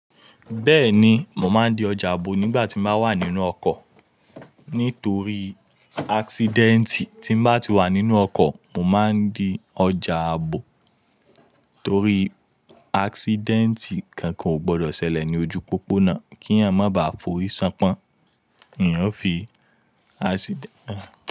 Bẹ́ẹ̀ni, mo máa ń di ọjà ààbò nígbà tí mo bá wà nínú ọkọ̀. Nítorí accident tí bá ti wà nínú ọkọ̀, mo máa ń di ọjà ààbò torí accident kan kò gbọdọ̀ ṣẹlẹ̀ ní ojú pópónà kí èèyàn má ba à forí ṣánpọ́n. Ìyẹn ó fi accident.